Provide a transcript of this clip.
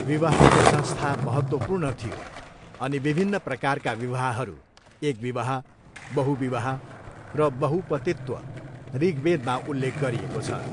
विवाहको संस्था महत्त्वपूर्ण थियो अनि विभिन्न प्रकारका विवाहहरू, एकविवाह, बहुविवाह र बहुपतित्व ऋग्वेदमा उल्लेख गरिएको छ।